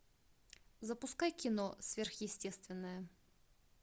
запускай кино сверхъестественное